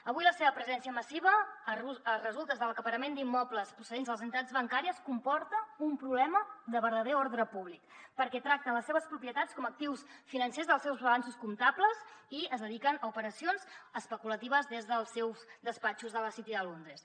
avui la seva presència massiva a resultes de l’acaparament d’immobles procedents de les entitats bancàries comporta un problema de verdader ordre públic perquè tracta les seves propietats com a actius financers dels seus balanços comptables i es dediquen a operacions especulatives des dels seus despatxos de la city de londres